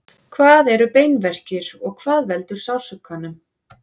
hvað eru beinverkir og hvað veldur sársaukanum